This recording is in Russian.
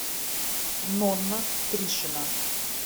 нонна тришина